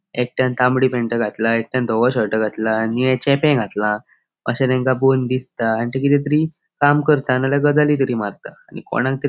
एकट्यान तामड़ी पॅन्ट घातला एकट्यान धवों शर्ट घातला निळे चेपे घातला अशे तेंका पोवोन दिसता आणि ती किते तरी काम करता आणि गजाली तरी मारता आणि कोणाक तरी --